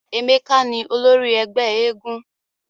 Emeka ni olori ẹgbẹ éégún.